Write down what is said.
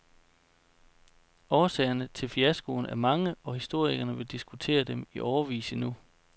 Årsagerne til fiaskoen er mange, og historikerne vil diskutere dem i årevis endnu.